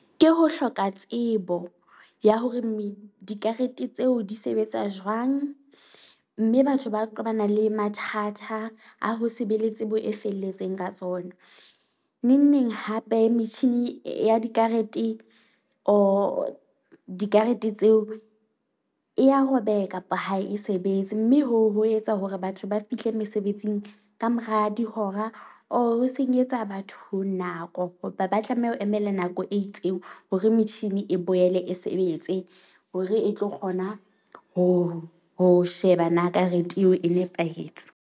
Ke ho hloka tsebo ya hore dikarete tseo di sebetsa jwang, mme batho ba qobana le mathata a ho se be le tsebo e felletseng ka tsona. Neng neng hape, metjhini ya dikarete or dikarete tseo e ya robeha kapa ha e sebetse. Mme ho o ho etsa hore batho ba fihle mesebetsing ka mora dihora or ho senyetsa batho nako. Hoba ba tlameha ho emela nako e itseng hore metjhini e boele e sebetse hore e tlo kgona ho ho sheba na karete eo e nepahetse.